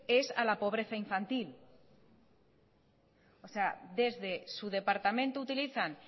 es a la pobreza infantil o sea desde su departamento utilizan